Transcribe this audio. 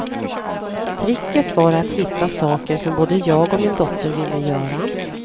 Tricket var att hitta saker som både jag och min dotter ville göra.